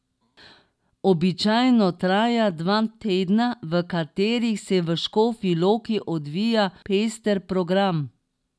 Običajno traja dva tedna, v katerih se v Škofji Loki odvija pester program.